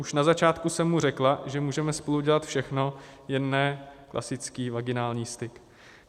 Už na začátku jsem mu řekla, že můžeme spolu dělat všechno, jen ne klasický vaginální styk.